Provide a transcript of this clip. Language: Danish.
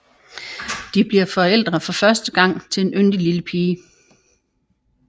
De bliver forældre for første gang til en yndig lille pige